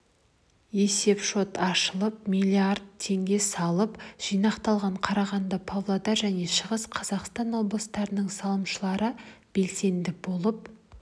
есепшот ашылып миллиард теңге салым жинақталған қарағанды павлодар және шығыс қазақстан облыстарының салымшылары белсенді болып